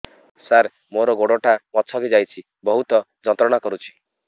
ସାର ମୋର ଗୋଡ ଟା ମଛକି ଯାଇଛି ବହୁତ ଯନ୍ତ୍ରଣା କରୁଛି